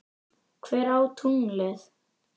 Hver á tunglið?